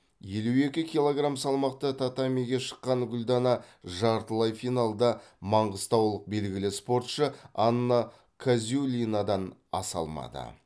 елу екі килограмм салмақта татамиге шыққан гүлдана жартылай финалда маңғыстаулық белгілі спортшы анна казюлинадан аса алмады